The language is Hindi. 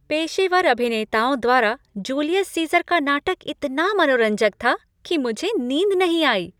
पेशेवर अभिनेताओं द्वारा जूलियस सीज़र का नाटक इतना मनोरंजक था कि मुझे नींद नहीं आई।